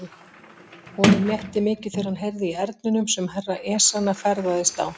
Honum létti mikið þegar hann heyrði í erninum sem Herra Ezana ferðaðist á.